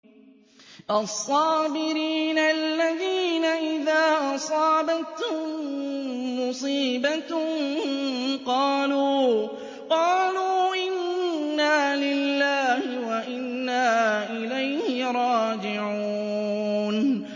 الَّذِينَ إِذَا أَصَابَتْهُم مُّصِيبَةٌ قَالُوا إِنَّا لِلَّهِ وَإِنَّا إِلَيْهِ رَاجِعُونَ